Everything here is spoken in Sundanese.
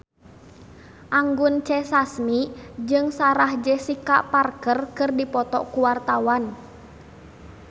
Anggun C. Sasmi jeung Sarah Jessica Parker keur dipoto ku wartawan